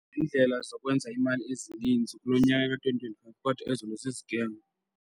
Neendlela zokwenza imali ezininzi kulo nyaka ka-twenty twenty-five kodwa ezinye zi-scam.